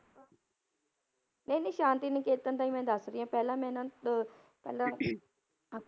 ਨਹੀਂ ਨਹੀਂ ਸ਼ਾਂਤੀ ਨਿਕੇਤਨ ਦਾ ਹੀ ਮੈਂ ਦੱਸ ਰਹੀ ਹਾਂ, ਪਹਿਲਾਂ ਮੈਂ ਇਹਨਾਂ ਅਹ ਪਹਿਲਾਂ ਆਪਾਂ